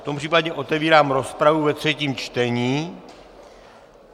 V tom případě otevírám rozpravu ve třetím čtení.